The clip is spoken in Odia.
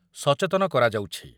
ଯୋଗେ ସଚେତନ କରାଯାଉଛି ।